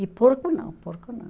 E porco não, porco não.